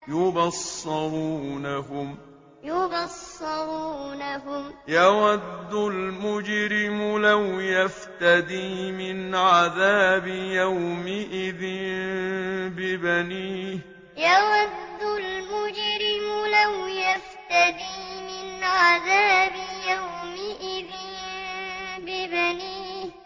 يُبَصَّرُونَهُمْ ۚ يَوَدُّ الْمُجْرِمُ لَوْ يَفْتَدِي مِنْ عَذَابِ يَوْمِئِذٍ بِبَنِيهِ يُبَصَّرُونَهُمْ ۚ يَوَدُّ الْمُجْرِمُ لَوْ يَفْتَدِي مِنْ عَذَابِ يَوْمِئِذٍ بِبَنِيهِ